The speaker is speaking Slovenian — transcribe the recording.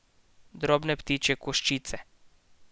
Drobne ptičje koščice.